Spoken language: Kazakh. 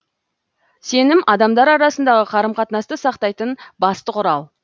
сенім адамдар арасындағы қарым қатынасты сақтайтын басты құрал